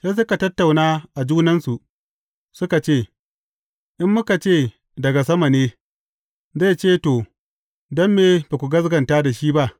Sai suka tattauna a junansu, suka ce, In muka ce, Daga sama ne,’ zai ce, To, don me ba ku gaskata shi ba?’